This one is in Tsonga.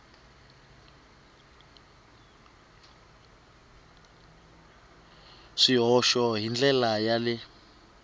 swihoxo hi ndlela ya le